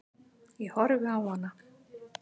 Ég horfi á hana.